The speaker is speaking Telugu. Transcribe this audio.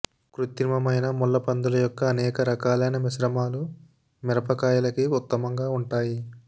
కృత్రిమమైన ముళ్ళపందుల యొక్క అనేక రకాలైన మిశ్రమాలు మిరపకాయలకి ఉత్తమంగా ఉంటాయి